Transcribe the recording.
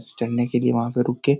चढ़ने के लिए वहाँ पर रुके --